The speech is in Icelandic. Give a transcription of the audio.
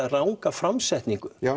ranga framsetningu